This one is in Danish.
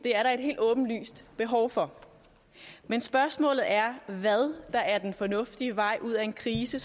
er der et helt åbenlyst behov for men spørgsmålet er hvad der er den fornuftige vej ud af en krise